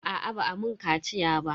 Aa ba a mun kaciya ba.